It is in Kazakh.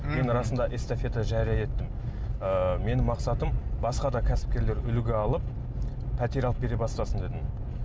мен расында эстафета жария еттім ыыы менің мақсатым басқа да кәсіпкерлер үлгі алып пәтер алып бере бастасын дедім